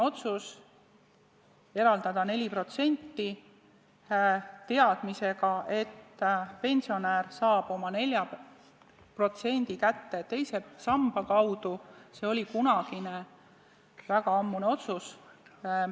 Otsus eraldada 4%, teadmisega, et pensionär saab oma 4% kätte teise samba kaudu, on väga ammune otsus.